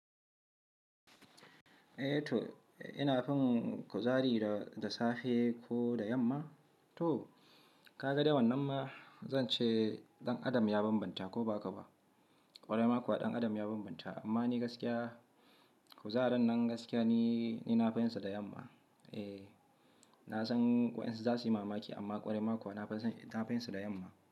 Eh to ina fin kuzari da, da safe ko da yamma? To ka ga dai wannan ma zan ce ɗan adam ya bambanta ko ba haka ba. Kwarai ma kuwa ɗan adam ya bambanta amma ni gaskiya kuzarin nan gaskiya ni, ni na fi yinsa da yamma. Eh na san waƴansu za su yi mamaki amma ƙwarai maku wa na finson, na fiyinsa da yamma.